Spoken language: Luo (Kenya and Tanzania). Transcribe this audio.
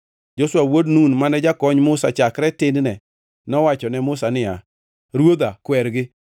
Joshua wuod Nun, mane jakony Musa chakre tin-ne, nowacho ne Musa niya, “Ruodha, kwergi!”